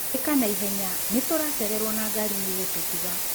Ĩka na ihenya nĩtũracererwo na ngari nĩ gũtũtiga.